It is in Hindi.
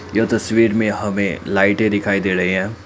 यह तस्वीर में हमें लाइटें दिखाई दे रहे हैं।